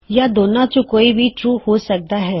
ਯਾ ਦੋਨਾ ਚੋਂ ਕੋਈ ਵੀ ਟਰੂ ਹੋ ਸਕਦਾ ਹੈ